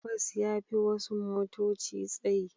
Bas ya fi wasu motoci tsayi.